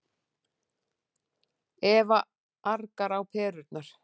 Eva argar á perurnar.